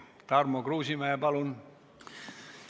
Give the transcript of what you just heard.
Tarmo Kruusimäe, palun!